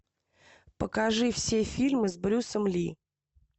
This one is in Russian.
покажи все фильмы с брюсом ли